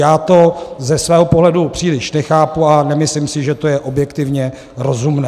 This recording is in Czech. Já to ze svého pohledu příliš nechápu a nemyslím si, že to je objektivně rozumné.